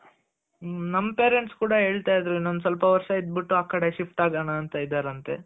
ನಮ್ parents ಕೂಡ ಹೇಳ್ತಾ ಇದ್ರು ಇನ್ನೊಂದ್ ಸ್ವಲ್ಪ ವರ್ಷ ಇದ್ದು ಬಿಟ್ಟು ಆಮೇಲೆ ಆ ಕಡೆಗ್ shift ಆಗಣ ಅಂತ ಇದಾರಂತೆ.